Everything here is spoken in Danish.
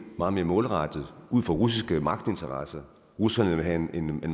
meget mere målrettet ud fra russiske magtinteresser russerne vil have en